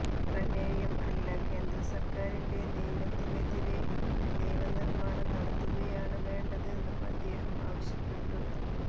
പ്രമേയം അല്ല കേന്ദ്ര സർക്കാരിെൻറ നിയമത്തിനെതിരെ നിയമനിർമാണം നടത്തുകയാണ് വേണ്ടതെന്നും അദ്ദേഹം ആവശ്യപ്പെട്ടു